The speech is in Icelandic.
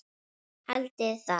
Haldiði það?